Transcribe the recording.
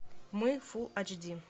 мы фул айч ди